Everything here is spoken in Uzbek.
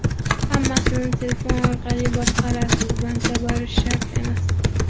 Hammasini telefon orqali boshqarasiz bankka borish shart emas!.